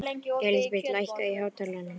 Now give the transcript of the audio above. Elísabeth, lækkaðu í hátalaranum.